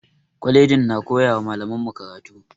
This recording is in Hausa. Kwalaji na koyara malaman mu karatu